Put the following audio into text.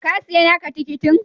Ka siya naka tikitin?